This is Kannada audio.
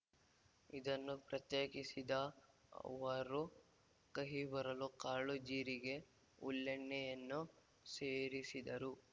ಇದನ್ನು ಪ್ರತ್ಯೇಕಿಸಿದ ಅವರು ಕಹಿ ಬರಲು ಕಾಳು ಜೀರಿಗೆ ಹುಲ್ಲೆಣ್ಣೆ ಯನ್ನು ಸೇರಿಸಿದರು